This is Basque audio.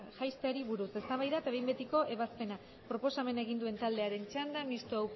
buruz eztabaida eta behin betiko ebazpena proposamena egin duen taldearen txanda mistoa